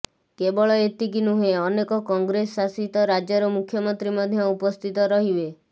କେବଳ ଏତିକି ନୁହେଁ ଅନେକ କଂଗ୍ରେସ ଶାସିତ ରାଜ୍ୟର ମୁଖ୍ୟମନ୍ତ୍ରୀ ମଧ୍ୟ ଉପସ୍ଥିତ ରହିବେ